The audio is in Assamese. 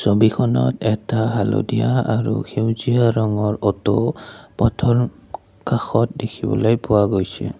ছবিখনত এটা হালধীয়া আৰু সেউজীয়া ৰঙৰ অট' পথৰ কাষত দেখিবলৈ পোৱা গৈছে।